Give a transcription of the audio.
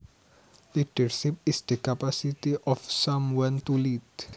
Leadership is the capacity of someone to lead